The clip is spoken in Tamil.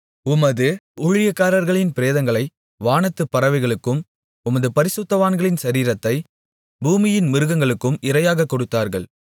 உமது ஊழியக்காரர்களின் பிரேதங்களை வானத்துப் பறவைகளுக்கும் உமது பரிசுத்தவான்களின் சரீரத்தைப் பூமியின் மிருகங்களுக்கும் இரையாகக் கொடுத்தார்கள்